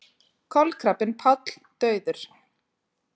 Kolkrabbinn Páll dauður